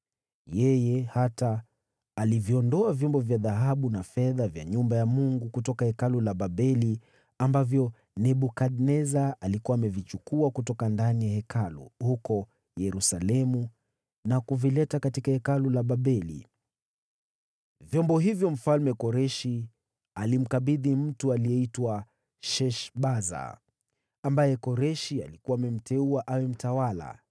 Yeye hata aliviondoa vyombo vya dhahabu na fedha vya nyumba ya Mungu, kutoka Hekalu la Babeli ambavyo Nebukadneza alikuwa amevichukua kutoka ndani ya Hekalu huko Yerusalemu na kuvileta katika Hekalu la Babeli. “Vyombo hivyo Mfalme Koreshi alimkabidhi mtu aliyeitwa Sheshbaza, ambaye Koreshi alikuwa amemteua awe mtawala,